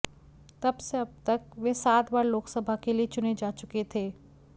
तब से अब तक वे सात बार लोकसभा के लिए चुने जा चुके थे